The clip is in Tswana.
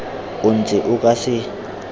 o ntse o ka se